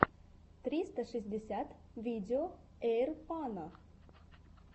тристра шестьдесят видео эйрпано